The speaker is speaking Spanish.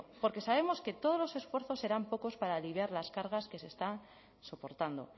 porque sabemos que todos los esfuerzos serán pocos para aliviar las cargas que se está soportando